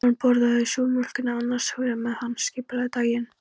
Hann borðaði súrmjólkina annars hugar meðan hann skipulagði daginn.